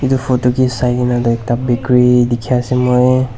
itu photo ke sai kena la ekta bakery dikhi ase moi.